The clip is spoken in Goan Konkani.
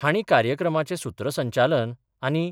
हांणी कार्यक्रमाचे सुत्रसंचालन आनी